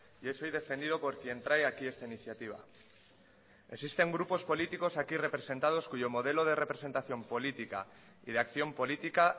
y es hoy defendido por quien trae aquí esta iniciativa existen grupos políticos aquí representados cuyo modelo de representación política y de acción política